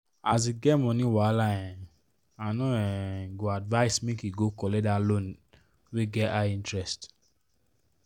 as e get money wahala um i no um go advise make e go collect that loan wey get high interest.